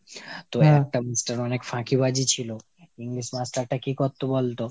তো একটা master অনেক ফাঁকিবাজি ছিল, English master টা কি করতো বল তো ?